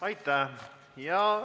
Aitäh!